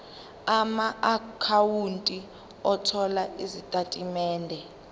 amaakhawunti othola izitatimende